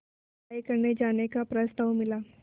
पढ़ाई करने जाने का प्रस्ताव मिला